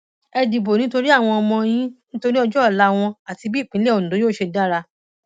ẹ dìbò nítorí àwọn ọmọ yín nítorí ọjọ ọla wọn àti bí ìpínlẹ ondo yóò ṣe dára